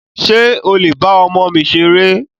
Ṣé o lè ba ọmọ mi ṣeré?